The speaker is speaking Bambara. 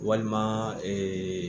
Walima